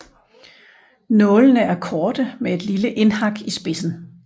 Nålene er korte med et lille indhak i spidsen